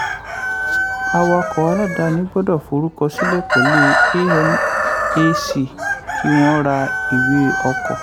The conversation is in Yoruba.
awakọ̀ aláàdáni gbọ́dọ̀ forúkọ sílẹ̀ pẹ̀lú amac kí wọ́n rà ìwé ọkọ̀.